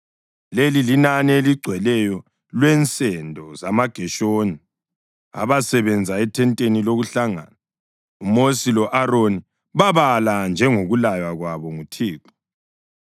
Leli linani eligcweleyo lwensendo zamaGeshoni abasebenza ethenteni lokuhlangana. UMosi lo-Aroni babala njengokulaywa kwabo nguThixo.